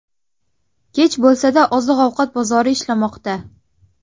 Kech bo‘lsa-da, oziq-ovqat bozori ishlamoqda.